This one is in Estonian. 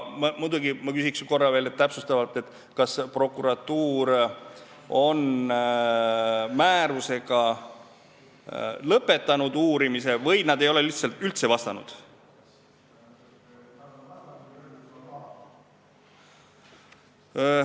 Ma muidugi küsiksin korra veel täpsustavalt, kas prokuratuur on uurimise määrusega lõpetanud või nad ei ole lihtsalt üldse vastanud.